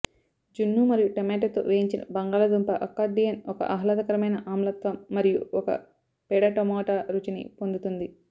జున్ను మరియు టమోటాతో వేయించిన బంగాళాదుంప అకార్డియన్ ఒక ఆహ్లాదకరమైన ఆమ్లత్వం మరియు ఒక పేడ టమోటా రుచిని పొందుతుంది